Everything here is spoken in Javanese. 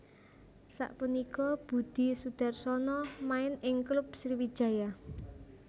Sapunika Budi Sudarsono main ing klub Sriwijaya